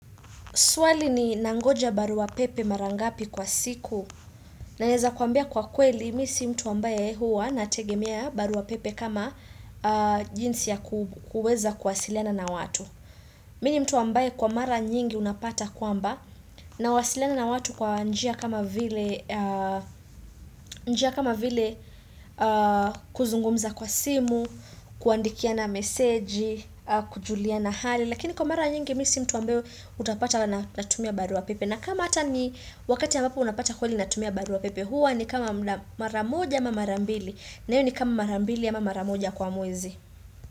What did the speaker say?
Swali ni nangoja baruwa pepe mara ngapi kwa siku nawezakuambia kwa kweli mimi si mtu ambaye huwa na tegemea baruwa pepe kama jinsi ya kuweza kwasiliana na watu Mimi ni mtu ambaye kwa mara nyingi unapata kwamba nawasiliana na watu kwa njia kama vile kuzungumza kwa simu Kuandikiana meseji kujuliana hali lakini kwa mara nyingi mimi si mtu ambayo utapata natumia barua pepe na kama hata ni wakati ambapo unapata kweli natumia barua pepe hua ni kama mara moja ama mara mbili na hiyo ni kama mara mbili ama mara moja kwa mwezi.